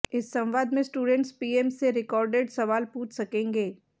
इस संवाद में स्टूडेंट्स पीएम से रिकार्डेड सवाल पूछ सकेंगे